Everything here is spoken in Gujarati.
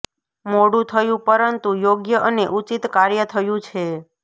મોડું થયું પરંતુ યોગ્ય અને ઉચિત કાર્ય થયું છે